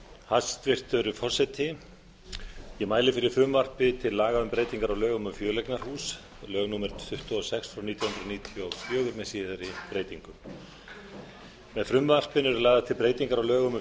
hæstvirtur forseti ég mæli fyrir frumvarpi til laga um breytingu á lögum um fjöleignarhús númer tuttugu og sex nítján hundruð níutíu og fjögur með síðari breytingum með frumvarpinu eru lagðar til breytingar á lögum um